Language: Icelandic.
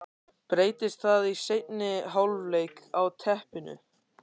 Breytist það í seinni hálfleik á teppinu?